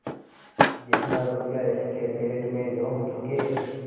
जितना रुपया इसके पेट में झोंक चुके